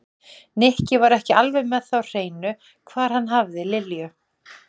Nikki var ekki alveg með það á hreinu hvar hann hafði Lilju.